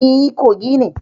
E, Kogi ne.